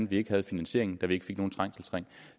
vi ikke havde finansieringen så vi ikke fik nogen trængselsring